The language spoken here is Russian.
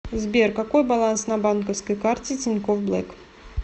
сбер какой баланс на банковской карте тинькофф блэк